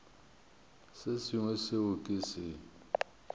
se sengwe seo ke se